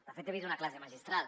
de fet he vist una classe magistral